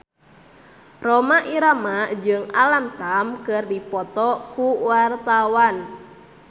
Rhoma Irama jeung Alam Tam keur dipoto ku wartawan